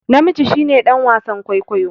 Namiji shi ne dan wasan kwaikwayo